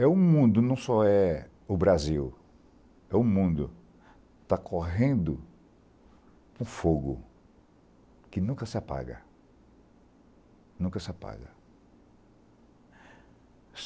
É um mundo, não só é o Brasil, é um mundo que está correndo um fogo que nunca se apaga, nunca se apaga.